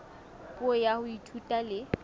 puo ya ho ithuta le